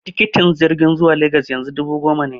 Tikitin jirgin zuwa Legas yanzu dubu goma ne.